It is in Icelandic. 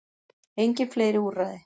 Engin fleiri úrræði